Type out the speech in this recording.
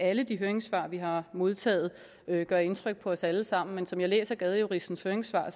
at alle de høringssvar vi har modtaget gør indtryk på os alle sammen men som jeg læser gadejuristens høringssvar